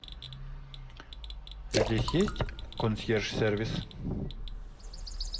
здесь есть консьерж сервис